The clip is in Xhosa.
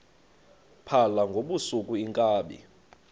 phala ngobusuku iinkabi